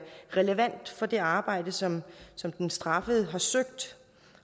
relevant for det arbejde som som den straffede søger